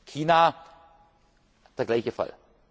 Hoffnung. China der gleiche